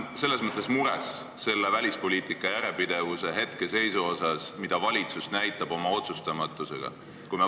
Ma olen mures välispoliitika järjepidevuse hetkeseisu pärast, selle pärast, mida valitsus oma otsustamatusega näitab.